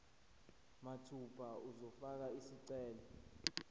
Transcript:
mathupha uzofaka isicelo